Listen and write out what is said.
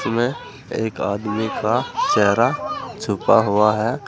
में एक आदमी का चेहरा छुपा हुआ है।